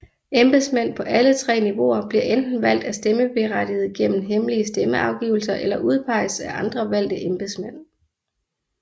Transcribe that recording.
Embedsmænd på alle tre niveauer bliver enten valgt af stemmeberettigede gennem hemmelige stemmeafgivelser eller udpeges af andre valgte embedsmænd